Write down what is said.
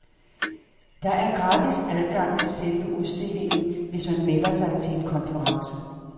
Der er gratis adgang til selve udstillingen, hvis man melder sig til en konference.